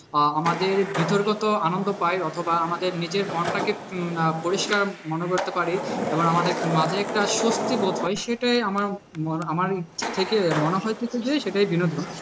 আহ আমাদের ভিতরগত আনন্দ পাই অথবা আমাদের নিজের মনটাকে আহ পরিষ্কার মনে করতে পারি এবং আমাদের মাঝে একটা স্বস্তিবোধ হয় সেটাই আমার আমার থেকে মনে হয়েছে যে সেটাই বিনোদন।